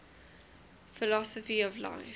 philosophy of life